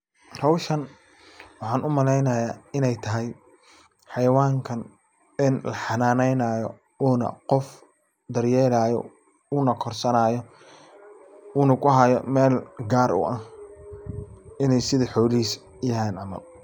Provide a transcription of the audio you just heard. Hawshan waxaan u malaynaya inay tahay xayawankan ee u xanaanaynaayo uu na qof daryeelaayo uu na korsanaayo uu na kuhayo mel gaar u ah inay sidi xolahis yahan camal.